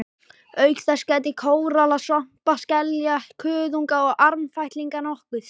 Auk þess gætti kóralla, svampa, skelja, kuðunga og armfætlinga nokkuð.